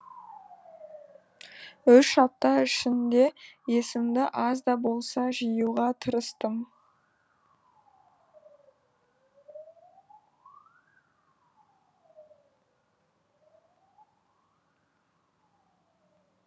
үш апта ішінде есімді аз да болса жиюға тырыстым